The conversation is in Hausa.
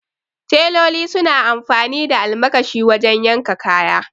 Teloli suna amfani da almakashi wajen yanka kaya